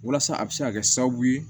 Walasa a bɛ se ka kɛ sababu ye